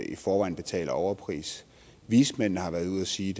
i forvejen betaler overpris vismændene har været ude at sige